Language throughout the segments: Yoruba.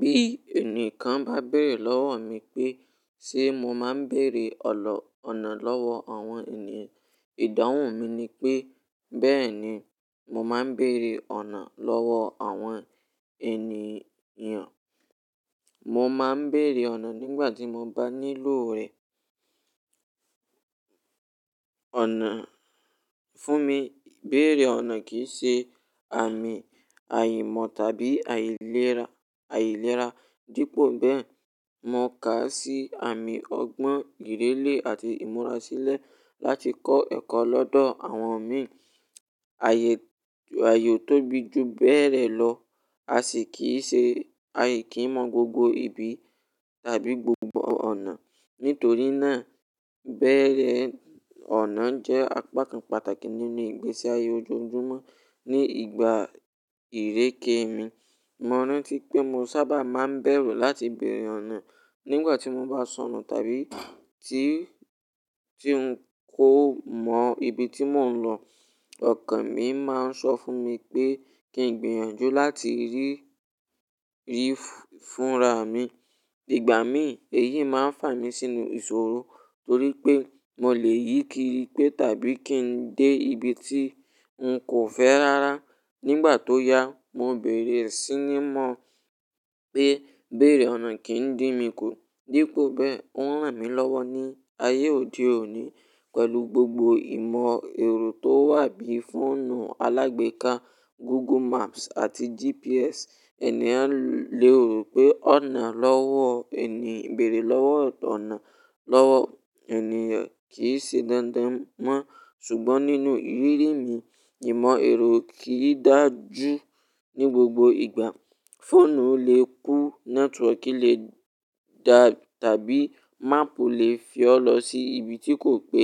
Bí ẹnìkan bá béèrè lọ́wọ́ mi pé sé mo máa ń bèèrè ọ̀nà lọ́wọ́ àwọn ènìyàn, ìdáhùn mi ni pé, bẹ́ẹ̀ni, mo máa ń bèèrè ọ̀nà lọ́wọ́ àwọn ènìyàn. Mo máa ń bèèrè ọ̀nà nígbà tí mo bá nílò rẹ̀. Ọ̀nà, fún mi, ibèèrè ọ̀nà kì í ṣe àmì àìmọ̀ tàbí àìlera, àìlera. Dípò bẹ́ẹ̀, mo kà á sí àmì ọgbọ́n, ìrírí àti ìmúra sílẹ̀ láti kọ́ ẹ̀kọ́ lọ́dọ̀ àwọn mi. Ayé, ayé ò tóbi ju bẹ́ẹ̀ rẹ̀ lọ. A sì kìí ṣe a kì n mọ gbogbo ibi tàbí gbogbo ọ̀nà. Nítorí náà, bèèrè ọ̀nà jẹ́ apá kan pàtàkì nínú ìgbésí ayé ojoojúmọ́ ní ìgbà ìréke mi. Mo rántí pé mo sábà máa ń bẹ̀rù láti bèèrè ọ̀nà nígbà tí mo bá sọnù tàbí tí, tí n kò mọ ibi tí mò ń lọ. Ọ̀kàn mi máa ń sọ fún mi pé kí n gbìyànjú láti rí, rí i fúnra mi. Ìgbà mí, èyí máa ń fà mí sínú ìṣòro torí pé mo lè yíkiri pé tàbí kí n dé ibi tí n kò fẹ́ rárá. Nígbà tó yá, mo bèèrè sí ní mọ̀ pé bèèrè ọ̀nà kìí n dín mi kú. Dípò bẹ́ẹ̀, ó ń ràn mí lọ́wọ́ ní ayé òde òní. Pẹ̀lú gbogbo ìmọ̀ ẹ̀rọ tó wà bí i fóònù alágbeeka, Google Maps àti GPS, ènìyàn lè rò pé ọ̀nà lọ́wọ́ ènìyàn, bèèrè lọ́wọ́ ọ̀nà lọ́wọ́ ènìyàn kì í ṣe dandan mọ́. Ṣùgbọ́n nínú ìrírí mi, ìmọ̀ ẹ̀rọ kì í dáju ní gbogbo ìgbà. Fóònù lè kú, nẹ́tíwọ̀ọ̀kì lè dà bí i máàpù lè fi ọ́ lọ sí ibi tí kò pé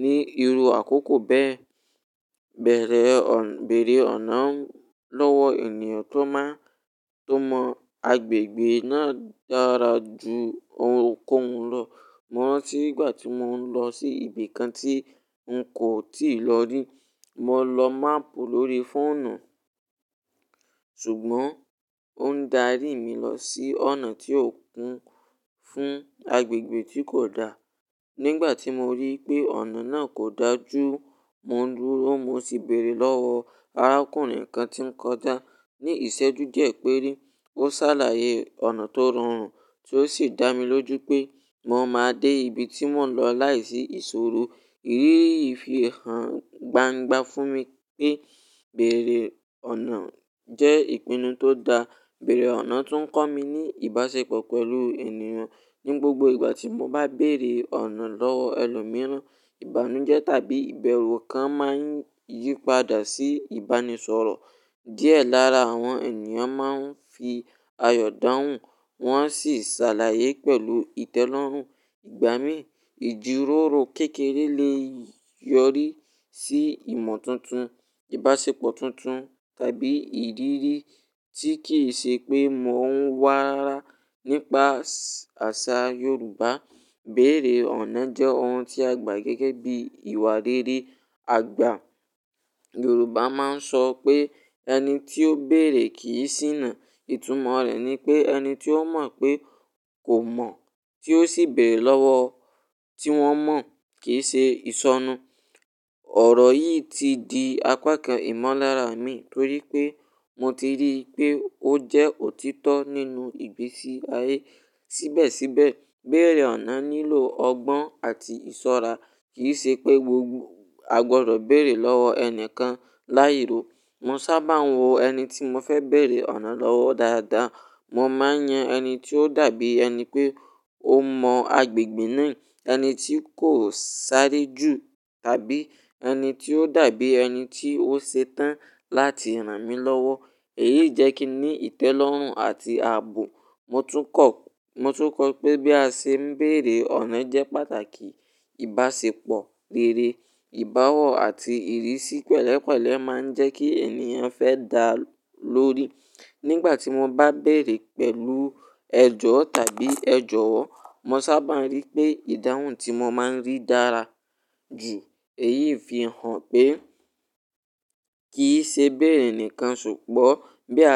ní irú àkókò bẹ́ẹ̀. Bẹ̀rẹ̀ ọ̀n, bèèrè ọ̀nà lọ́wọ́ ènìyàn tó man, tó mọ agbègbè náà dára ju ohunkóhun lọ. Mo rántí ìgbà tí mò ń lọ sí ibi kan tí n kò tíì lò ó rí. Mo lo máàpù lórí fóònù, ṣùgbọ́n ó ń darí mi lọ sí ọ̀nà tí ó kún fún agbègbè tí kò da. Nígbà tí mo rí pé ọ̀nà náà kò dáa ju, mo dúró, mo sì bèèrè lọ́wọ́ arákùnrin kan tí ń kọjá. Ni ìṣẹ́jú díẹ̀ péré, ó ṣàlàyé ọ̀nà tó rọrùn tí ó sì dá mi lójú pé mo máa dé ibi tí mò ń lọ láìsí ìṣòro. Ìrírí yìí fi hàn gbangba fún mi pé bèèrè ọ̀nà jẹ́ ìpinnu tó da. Bèèrè ọ̀nà tún ń kọ́ mi ní ìbáṣepọ̀ pẹ̀lú ènìyàn. Ní gbogbo ìgbà tí mo bá bèèrè ọ̀nà lọ́wọ́ ẹlòmíràn, ìbánújẹ́ tàbí ìbẹ̀rù kan máa ń yípadà sí ìbánisọ̀rọ̀. Díẹ̀ lára àwọn ènìyàn máa ń fi ayọ̀ dáhùn, wọ́n sì ṣàlàyé pẹ̀lú ìtẹ́lọ́rùn. Ìgbà mí ìjíròrò kékeré lè yọrí sí ìmọ̀ tuntun, ìbáṣepọ̀ tuntun tàbí ìrirí tí kì í ṣe pé mò ń wà rárá. Nípa àṣà Yorùbá, bèèrè ọ̀nà jẹ́ ohun tí a gbà gẹ́gẹ́ bí ìwà rere. Àgbà Yorùbá máa ń sọ pé "ẹni tí ó bèèrè kì í ṣíná". Ìtumọ̀ rẹ̀ ni pé ẹni tí ó mọ̀ pé kò mọ̀ tí ó sì bèèrè lọ́wọ́ tí wọ́n mọ̀ kì í ṣe ìṣọnù. Ọ̀rọ̀ yìí ti di apá kan ìmọ̀lára mi torí pé mo ti rí pé ó jẹ́ òtítọ́ nínú ìgbésí ayé. Síbẹ̀síbẹ̀, bèèrè ọ̀nà nílò ọgbọ́n àti ìṣọ́ra. Kì í ṣe pé gbogbo agbọ̀dọ̀ bèèrè lọ́wọ́ ẹni kan láì ro. Mo sábà ń wo ẹni tí mo fẹ́ bèèrè ọ̀nà lọ́wọ́ dáadáa. Mo máa ń yan ẹni tí ó dàbí ẹni pé ó mọ agbègbè náà, ẹni tí kò sáré jù tàbí ẹni tí ó dàbí ẹni tí ó ṣe tán láti ràn mí lọ́wọ́. Èyí jẹ́ kí ní ìtẹ́lọ́rùn àti aàbò. Mo tún kọ, mo tún kọ pé bí a ṣe ń bèèrè ọ̀nà jẹ́ pàtàkì. Ìbáṣepọ̀ rere, ìbáwọ̀ àti ìrísí pẹ̀lẹ́pẹ̀lẹ́ máa ń jẹ́ kí ènìyàn fẹ́ dá lọ́rí. Nígbà tí mo bá bèèrè pẹ̀lú ẹjọ́ tàbí ẹjọ́wọ́, mo sábà ń rí pé ìdáhùn tí mo máa ń rí dára jù. Èyí fi hàn pé kì í ṣe ibèèrè nikan ṣùgbọ́n bí a.